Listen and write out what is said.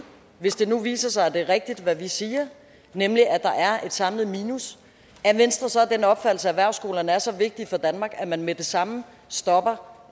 hvis det nu viser sig at det er rigtigt hvad vi siger nemlig at der er et samlet minus er venstre så af den opfattelse at erhvervsskolerne er så vigtige for danmark at man med det samme stopper